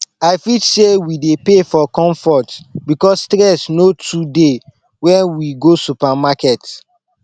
i fit sey we dey pay for comfort because stress no too dey when we go supermarket